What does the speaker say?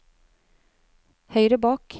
høyre bak